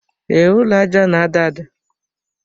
Ee, ụlọ aja na-ada ada.